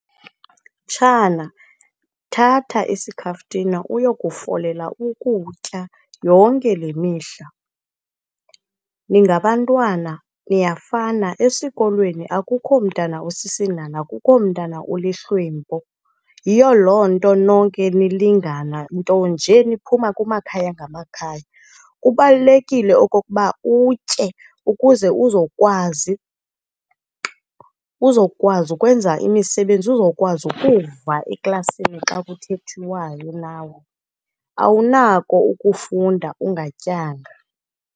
Mtshana, thatha isikhaftina uyokufolela ukutya yonke le mihla. Ningabantwana niyafana. Esikolweni akukho mntana usisinhanha, akukho mntana ulihlwempu. Yiyo loo nto nonke nilingana, nto nje niphuma kumakhaya ngamakhaya. Kubalulekile okokuba utye ukuze uzokwazi, uzokwazi ukwenza imisebenzi, uzokwazi ukuva eklasini xa kuthethwayo nawe, awunako ukufunda ungatyanga.